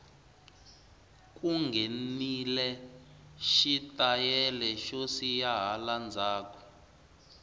ku nghenile xi tayele xo siya hala ndzhaku